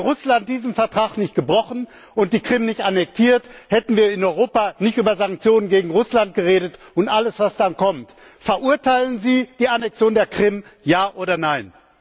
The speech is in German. Hätte Russland diesen Vertrag nicht gebrochen und die Krim nicht annektiert, hätten wir in Europa nicht über Sanktionen gegen Russland geredet und alles, was dann kommt. Verurteilen Sie die Annexion der Krim, ja oder nein?